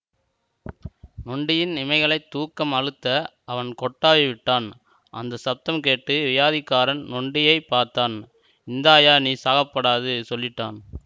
நொண்டியின் இமைகளைத் தூக்கம் அழுத்த அவன் கொட்டாவி விட்டான் அந்த சப்தம் கேட்டு வியாதிக்காரன் நொண்டியைப் பார்த்தான் இந்தாய்யா நீ சாகப்படாதுசொல்லிட்டான்